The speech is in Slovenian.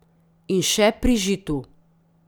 In še pri Žitu.